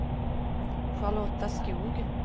Charlotta Skog